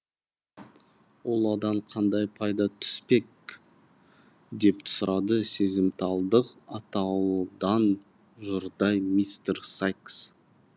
ал одан қандай пайда түспек деп сұрады сезімталдық атаулыдан жұрдай мистер сайкс